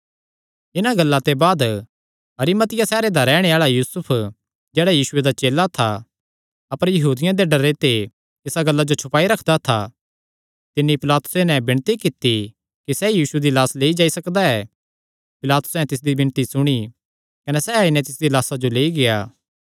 इन्हां गल्लां ते बाद अरिमतिया सैहरे दा रैहणे आल़ा यूसुफ जेह्ड़ा यीशुये दा चेला था अपर यहूदियां दे डरे ते इसा गल्ला जो छुपाई रखदा था तिन्नी पिलातुसे नैं विणती कित्ती कि क्या सैह़ यीशु दी लाह्स लेई जाई सकदा ऐ पिलातुसैं तिसदी विणती सुणी कने सैह़ आई नैं तिसदी लाह्सा लेई गेआ